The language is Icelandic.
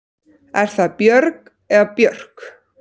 Er það Björg eða Björk?